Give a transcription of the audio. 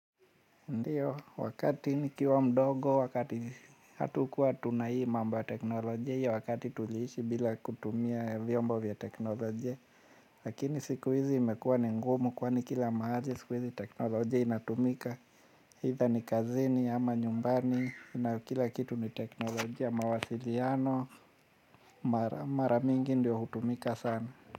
Ndiyo, wakati nikiwa mdogo, wakati hatukuwa tuna hii mambo ya teknolojia hii ya wakati tuliishi bila kutumia vyombo vya teknolojia. Lakini siku hizi imekuwa ni ngumu kwani kila mahali siku hizi teknolojia inatumika either ni kazini ama nyumbani na kila kitu ni teknolojia mawasiliano, mara mingi ndiyo hutumika sana.